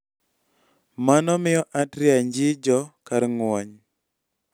Mano miyo atria njijo kar ng'wony.